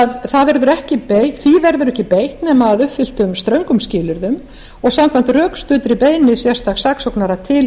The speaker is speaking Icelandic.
því að því verður ekki beitt nema að uppfylltum ströngum skilyrðum og samkvæmt rökstuddri beiðni sérstaks saksóknara til